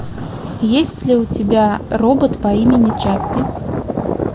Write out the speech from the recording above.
есть ли у тебя робот по имени чаппи